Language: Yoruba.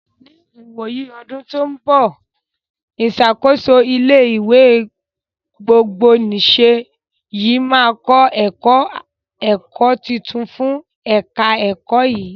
Ní ìwòyí ọdún tó ń bọ̀, ìṣàkóso ilé ìwé gbogbonìse yìí màá kọ́ ẹ̀ka ẹ̀kọ́ tuntun fún ẹ̀ka ẹ̀kọ́ yìí.